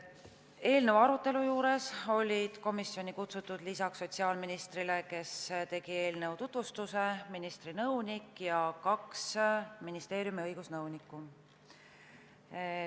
Eelnõu arutelule olid komisjoni kutsutud lisaks sotsiaalministrile, kes tegi eelnõu tutvustuse, ministri nõunik ja kaks ministeeriumi õigusnõunikku.